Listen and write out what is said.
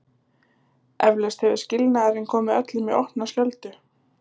Eflaust hefur skilnaðurinn komið öllum í opna skjöldu.